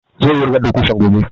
Zai wurgar da ƙusan gobe